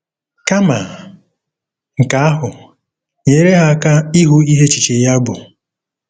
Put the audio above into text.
Kama nke ahụ, nyere ha aka ịhụ ihe echiche ya bụ.